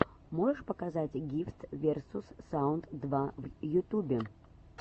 можешь показать гифтс версус саунд два в ютубе